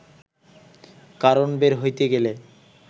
কারণ বের হইতে গেলে